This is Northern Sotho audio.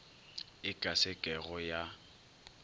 e ka se kego ya